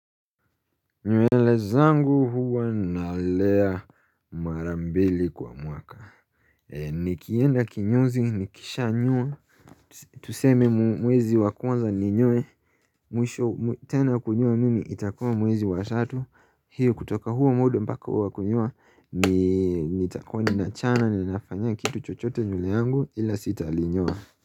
Nywele zangu huwa nalea mara mbili kwa mwaka Nikienda kinyozi nikishanyoa Tuseme mwezi wa kwanza ni nyoe Mwisho tena kunyoa mimi itakua mwezi wa tatu Hiu kutoka huo muda mpaka wa kunyoa ni nitakua ninachana ni nafanyia kitu chochote nywele yangu ila sitalinyoa.